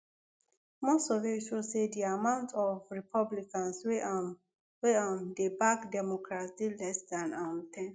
most survey show say di amount of republicans wey um wey um dey back democra than um ten